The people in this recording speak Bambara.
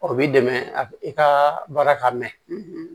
O b'i dɛmɛ a ka baara ka mɛn